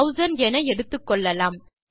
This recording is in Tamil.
6000 என எடுத்துக்கொள்ளலாம்